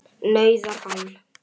nauðar hann.